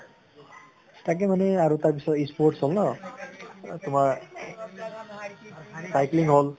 তাকে মানে আৰু তাৰ পিছত sports হʼল ন তোমাৰ cycling হʼল